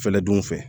Fɛɛrɛ dun fɛ